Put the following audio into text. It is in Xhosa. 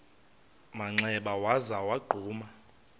manxeba waza wagquma